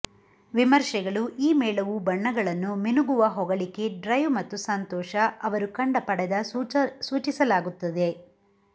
ವಿಮರ್ಶೆಗಳು ಈ ಮೇಳವು ಬಣ್ಣಗಳನ್ನು ಮಿನುಗುವ ಹೊಗಳಿಕೆ ಡ್ರೈವ್ ಮತ್ತು ಸಂತೋಷ ಅವರು ಕಂಡ ಪಡೆದ ಸೂಚಿಸಲಾಗುತ್ತಿದೆ